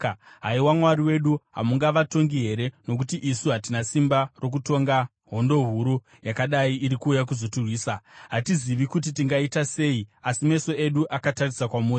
Haiwa Mwari wedu, hamungavatongi here? Nokuti isu hatina simba rokutonga hondo huru yakadai iri kuuya kuzotirwisa. Hatizivi kuti tingaita sei, asi meso edu akatarisa kwamuri.”